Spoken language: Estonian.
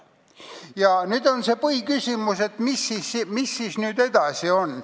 Ja nüüd see põhiküsimus, mis siis edasi saab.